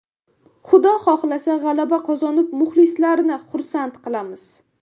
Xudo xohlasa, g‘alaba qozonib, muxlislarni xursand qilamiz.